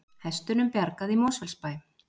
Hestunum bjargað í Mosfellsbæ